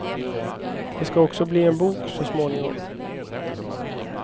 Det ska också bli en bok, så småningom.